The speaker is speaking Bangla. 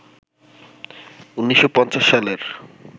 ১৯৫০ সালের